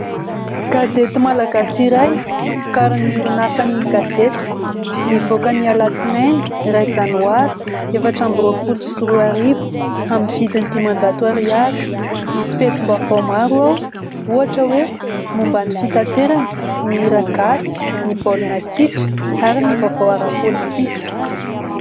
Gazety malagasy iray novokarin'ny orinasa "Ny Gazetiko ", nivoaka ny alatsinainy iray janoary efatra ambi-roapolo sy roa arivo amin'ny vidin'ny dimanjato ariary; misy pejim-baovao maro, ohatra hoe momban'ny fitaterana, ny hiragasy, ny baolina kitra ary ny vaovao ara-politika.